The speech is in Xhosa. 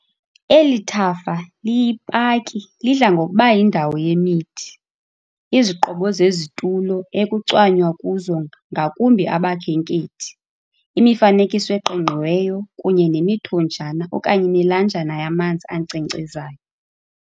Eli thafa liyi-paki lidla ngokuba yindawo yemithi, iziqobo zezitulo ekucwanywa kuzo ngakumbi abakhenkhethi, imifanekiso eqingqiweyo kunye nemithonjana okanye imilanjana yamazi ankcenkcezayo.